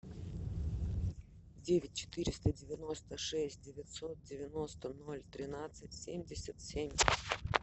девять четыреста девяносто шесть девятьсот девяносто ноль тринадцать семьдесят семь